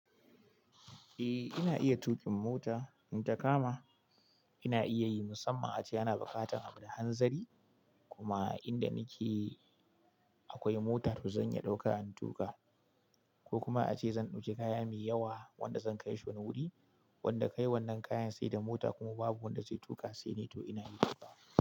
Eh ina iya tuƙin mota, in ta kama ina iya yi musamman ace ana buƙatar abu da hanzari, kuma inda nake akwai mota, toh zan iya ɗauka in tuƙa ko kuma ace zan ɗauki kaya mai yawa, wanda zan kai shi wani wuri wanda kai wannan kayan sai da mota, kuma babu wanda zai tuƙa sai ni to ina yi.